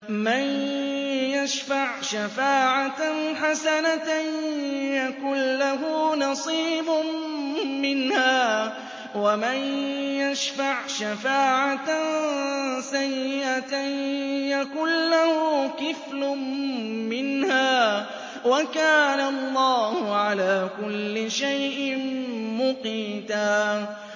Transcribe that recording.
مَّن يَشْفَعْ شَفَاعَةً حَسَنَةً يَكُن لَّهُ نَصِيبٌ مِّنْهَا ۖ وَمَن يَشْفَعْ شَفَاعَةً سَيِّئَةً يَكُن لَّهُ كِفْلٌ مِّنْهَا ۗ وَكَانَ اللَّهُ عَلَىٰ كُلِّ شَيْءٍ مُّقِيتًا